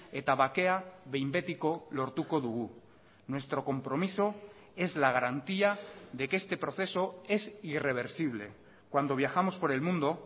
eta bakea behin betiko lortuko dugu nuestro compromiso es la garantía de que este proceso es irreversible cuando viajamos por el mundo